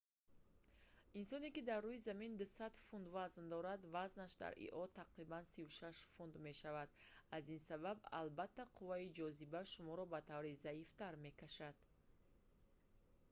инсоне ки дар рӯи замин 200 фунт 90 кг вазн дорад вазнаш дар ио тақрибан 36 фунт 16 кг мешавад. аз ин сабаб албатта қувваи ҷозиба шуморо ба таври заифтар мекашад